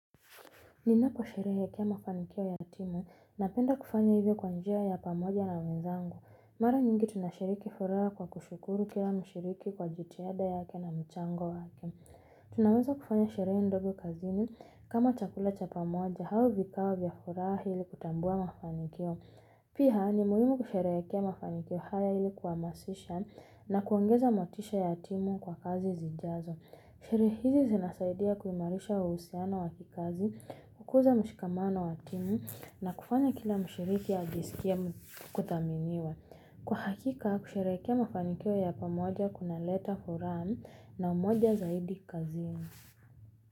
Ninaposherehekea mafanikio ya timu napenda kufanya hivyo kwa njia ya pamoja na wenzangu. Mara nyingi tunashiriki furaha kwa kushukuru kia mshiriki kwa jitihada yake na mchango wake. Tunaweza kufanya sherehe ndogo kazini kama chakula cha pamoja au vikao vya furaha ili kutambua mafanikio. Pia ni muhimu kusherehekea mafanikio haya ili kuhamasisha na kuongeza motisha ya timu kwa kazi zijazo. Sherehe hizi zinasaidia kuimarisha uhusiano wa kikazi, hukuza mshikamano wakini na kufanya kila mshiriki ajiskie kuthaminiwa. Kwa hakika, kusherekea mafanikio ya pamoja kunaleta furaha na umoja zaidi kazini.